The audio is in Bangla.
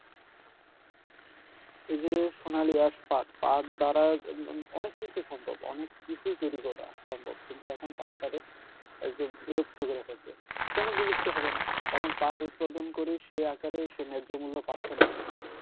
এই যে সোনালি আঁশ পাট পাট দ্বারা অনেক কিছু সম্ভব অনেক কিছুই তৈরি করা সম্ভব কিন্তু এখন পাটটারে একদম বিলুপ্ত কইরা ফেলছে কেন বিলুপ্ত হবেনা কারণ পাট উৎপাদন করে সে আকারে সে ন্যায্য মুল্য পাচ্ছেনা কৃষক